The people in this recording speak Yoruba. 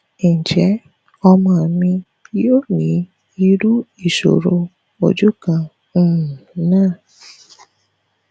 njẹ ọmọ mi yo ni iru isoro oju kan um na